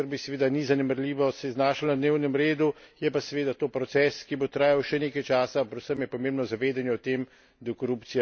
Tudi vprašanje korupcije, ki v Srbiji seveda ni zanemarljivo, se je znašlo na dnevnem redu. Je pa seveda to proces, ki bo trajal še nekaj časa.